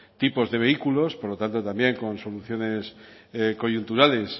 tipos de vehículos por lo tanto también con soluciones coyunturales